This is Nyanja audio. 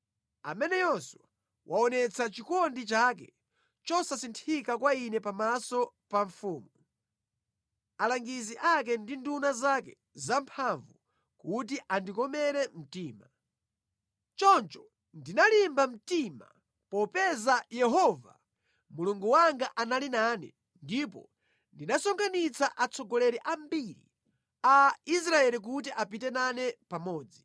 Ameneyonso waonetsa chikondi chake chosasinthika kwa ine pamaso pa mfumu, alangizi ake ndi nduna zake zamphamvu kuti andikomere mtima. Choncho ndinalimba mtima popeza Yehova, Mulungu wanga anali nane, ndipo ndinasonkhanitsa atsogoleri ambiri a Israeli kuti apite nane pamodzi.